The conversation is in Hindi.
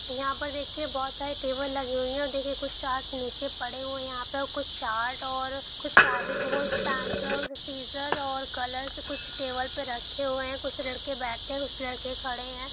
यहा पर देखिए बोहोत सारे टेबल लगे हुवे है और देखिए कुछ चार्ट नीचे पड़े हुवे है यहा पे और कुछ चार्ट और कुछ सीज़र और कलर्स कुछ टेबल पे रखे हुवे है कुछ लड़के बेठे है कुछ लड़के खड़े है।